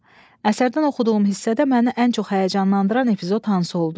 A. Əsərdən oxuduğum hissədə məni ən çox həyəcanlandıran epizod hansı oldu?